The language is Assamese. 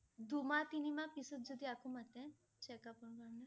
দুমাহ তিনিমাহ পিছত যদি আকৌ মাতে? checkup ৰ কাৰণে?